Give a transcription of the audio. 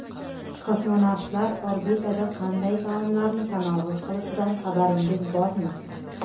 Kosmonavtlar orbitada qanday taomlarni tanovul qilishidan xabaringiz bormi?